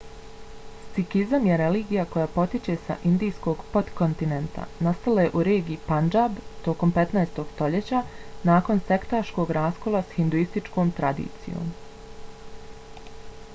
sikizam je religija koja potiče s indijskog potkontinenta. nastala je u regiji pandžab tokom 15. stoljeća nakon sektaškog raskola s hinduističkom tradicijom